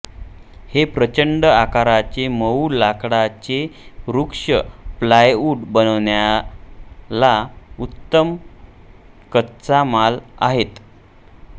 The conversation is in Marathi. हे प्रचंड आकाराचे मऊ लाकडाचे वृक्ष प्लायवुड बनवण्याला उत्तम कच्चा माल आहेत